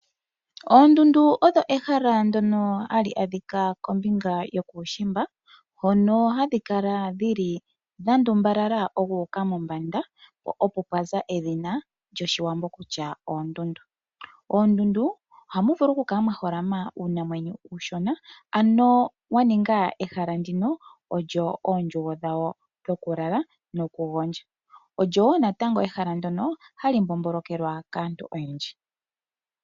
Oondundu odho ehala ndyoka hali adhika kombinga yokuushimba hono hadhi kala dhandumbalala dhuuka mombanda po opo pwaza edhina lyoshiwambo kutya oondundu. Ohamu vulu ku kala mwaholama uunamwenyo uushona olyo wa ninga ehala oondjugo dhawo dhokulala nokugondja. Ohamu vulu oku kala mwa mbombolokelwa kaantu oyendji.